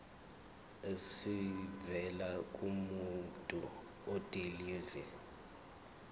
esivela kumuntu odilive